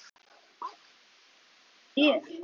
Gott hjá þér, segi ég.